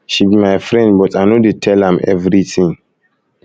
she be my friend but i no i no dey tell am everything